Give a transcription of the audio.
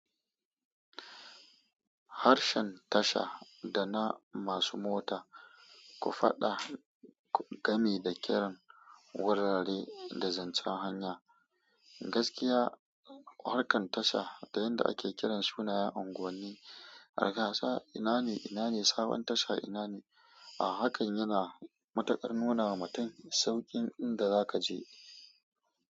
Harshen tasha dana masu mota, ku faɗa gami da kiran wurare da zance hanya. Gaskiya, harkan tasha da yanda ake kiran sunayen unguwanni, arkasa ina ne, ina ne sabon tasha ina ne. A hakan yana matukar nuna ma mutum saukin inda za ka je.